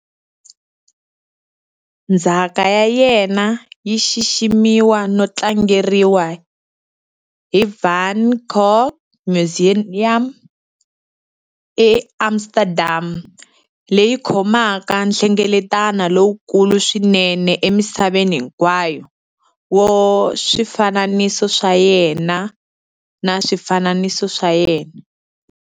Ndzhaka ya yena yi xiximiwa no tlangeriwa hi Van Gogh Museum eAmsterdam, leyi khomaka nhlengeleto lowukulu swinene emisaveni hinkwayo wa swifananiso swa yena na swifananiso swa yena.